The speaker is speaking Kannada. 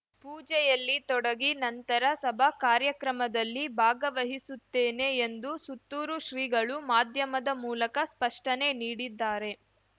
ಪೂಜೆಯಲ್ಲಿ ತೊಡಗಿ ನಂತರ ಸಭಾ ಕಾರ್ಯಕ್ರಮದಲ್ಲಿ ಭಾಗವಹಿಸುತ್ತೇನೆ ಎಂದು ಸುತ್ತೂರುಶ್ರೀಗಳು ಮಾಧ್ಯಮದ ಮೂಲಕ ಸ್ಪಷ್ಟನೆ ನೀಡಿದ್ದಾರೆ